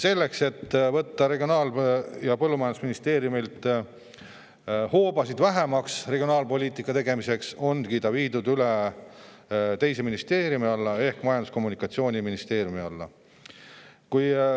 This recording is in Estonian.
Selleks, et võtta Regionaal- ja Põllumajandusministeeriumilt hoobasid vähemaks regionaalpoliitika tegemiseks, ongi see amet viidud üle teise ministeeriumi ehk Majandus- ja Kommunikatsiooniministeeriumi alla.